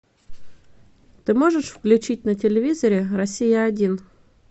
ты можешь включить на телевизоре россия один